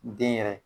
Den yɛrɛ